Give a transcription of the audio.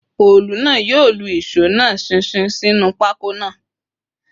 Òòlù náà yóò lu ìṣó náà ṣinṣin sínú pákó náà